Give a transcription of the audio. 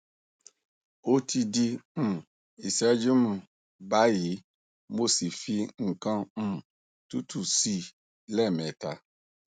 o ti di um iseju um bayi mo si fi nkan um tutu si i le meta